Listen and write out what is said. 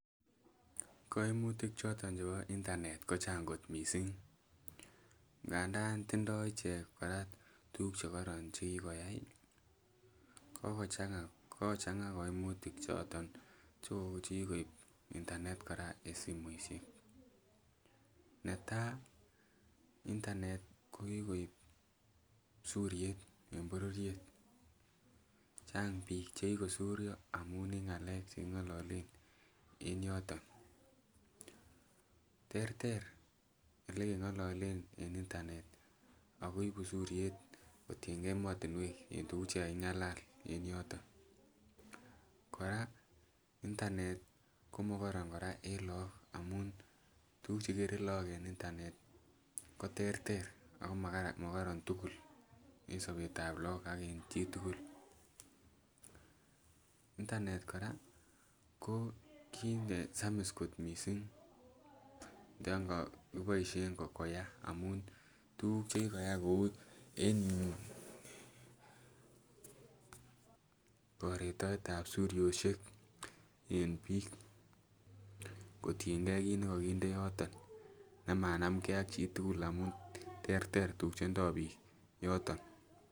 Koimutik choton chebo internet ko chang kot missing, ngandan tindoi ichek kora tuguk chekoron chekikoyai kokochang'a kokochang'a koimutik choton chekikoib internet kora en simoisiek, netaa internet kokikoib suryet en bororiet chang biik chekikosuryo amun en ng'alek cheking'ololen en yoton. Terter elekeng'ololen en internet akoibu suryet kotiengei emotinwek en tuguk chekaking'alal en yoton. Kora internet komokoron kora en look amun tuguk chekere look en internet ko terter ako makoron tugul en sobetab look ak en chitugul. Internet kora ko kit nesamis kot missing yon kokiboisien koyaa amun tuguk chekikoyai kou en yuu koretoetab suryosiek en biik kotiengei kit nekokinde yoton nemanamgee ak chitugul amun terter tuguk chendoo biik yoton